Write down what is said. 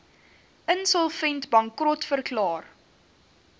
insolvent bankrot verklaar